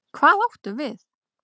Hvað áttu við?